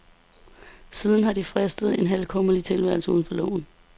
Siden har de fristet en halvkummerlig tilværelse uden for loven.